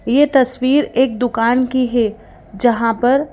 यह तस्वीर एक दुकान की है जहां पर--